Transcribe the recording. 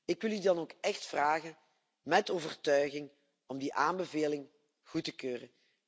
Ik wil jullie dan ook echt vragen met overtuiging om die aanbeveling goed te keuren.